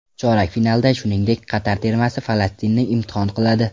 Chorak finalda, shuningdek, Qatar termasi Falastinni imtihon qiladi.